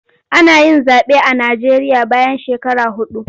Ana yin zaɓe a Najeriya bayan shekaru huɗu.